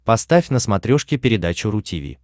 поставь на смотрешке передачу ру ти ви